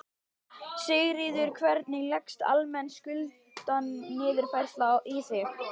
Sigríður: Hvernig leggst almenn skuldaniðurfærsla í þig?